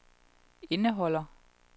indeholder